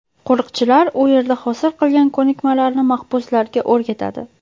Qo‘riqchilar u yerda hosil qilgan ko‘nikmalarini mahbuslarga o‘rgatadi.